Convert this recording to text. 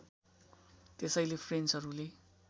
त्यसैले फ्रेन्चहरूले